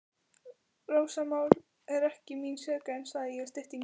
Rósamál er ekki mín sérgrein, sagði ég í styttingi.